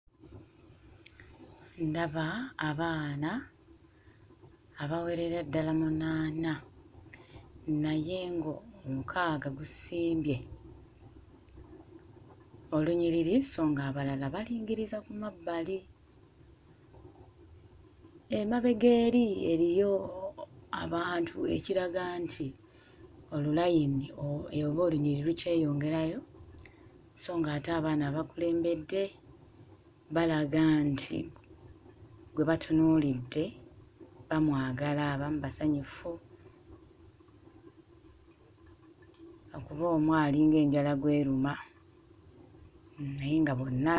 Ndaba abaana abawerera ddala munaana naye ng'omukaaga gusimbye olunyiriri so ng'abalala balingiriza ku mabbali. Emabega eri eriyo abantu ekiraga nti olulayini oba olunyiriri lukyeyongerayo so ng'ate abaana abakulembedde balaga nti gwe batunuulidde bamwagala; abamu basanyufu lwakuba omu alinga enjala gw'eruma naye nga bonna...